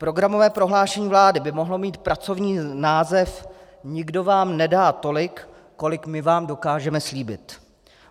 Programové prohlášení vlády by mohlo mít pracovní název Nikdo vám nedá tolik, kolik my vám dokážeme slíbit.